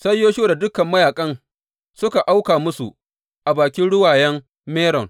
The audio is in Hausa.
Sai Yoshuwa da dukan mayaƙan suka auka musu a bakin Ruwayen Meron.